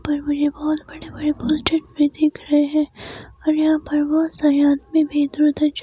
ऊपर मुझे बहुत बड़े बड़े पोस्टर भी दिख रहे हैं और यहां पर बहुत सारे आदमी भी इधर उधर जा --